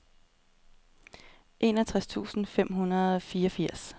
enogtres tusind fem hundrede og fireogfirs